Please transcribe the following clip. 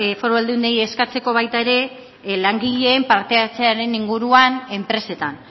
foru aldundiei eskatzeko baita ere langileen parte hartzearen inguruan enpresetan